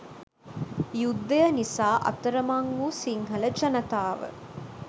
යුද්ධය නිසා අතරමං වූ සිංහල ජනතාව